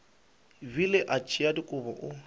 bile a tšea dikobo o